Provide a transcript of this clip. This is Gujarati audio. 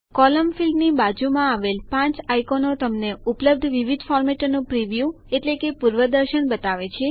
કોલમ ફીલ્ડની બાજુમાં આવેલ પાંચ આઈકોનો તમને ઉપલબ્ધ વિવિધ ફોર્મેટોનું પ્રિવ્યુ એટલે કે પૂર્વદર્શન બતાવે છે